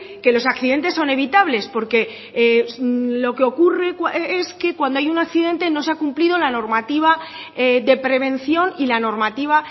que los accidentes son evitables porque lo que ocurre es que cuando hay un accidente no se ha cumplido la normativa de prevención y la normativa